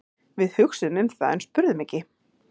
Við hugsuðum um það en spurðum ekki.